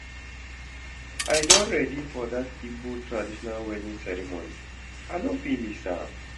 I don ready for dat Igbo traditional wedding ceremony, I no fit miss am.